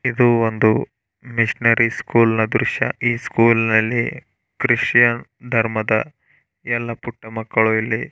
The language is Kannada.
ಇದು ಒಂದು ಮಿಶ್ನರಿ ಸ್ಕೂಲ್ ನ ದೃಶ್ಯ ಈ ಸ್ಕೂಲ್ ನಲ್ಲಿ ಕ್ರಿಶ್ಚನ್ ಧರ್ಮದ ಎಲ್ಲ ಪುಟ್ಟ ಮಕ್ಕಳು ಇಲ್ಲಿ --